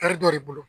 dɔ de bolo